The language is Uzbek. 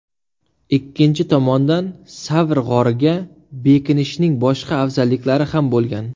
Ikkinchi tomondan, Savr g‘origa bekinishning boshqa afzalliklari ham bo‘lgan.